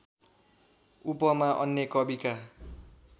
उपमा अन्य कविका